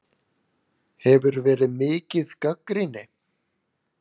Hefur verið mikið gagnrýni?